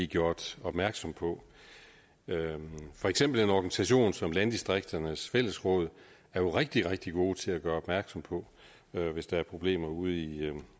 gjort opmærksomme på for eksempel er organisationer som landdistrikternes fællesråd rigtig rigtig gode til at gøre opmærksom på hvis der er problemer ude i